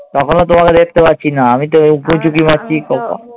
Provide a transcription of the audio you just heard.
তখনো তোমাকে দেখতে পাচ্ছি না। আমি তো উঁকি ঝুঁকি মারছি।